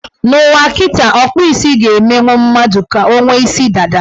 N' ụwa kịtaa, ọkpụ isi ga-emenwu mmadụ ka o nwee isi dada.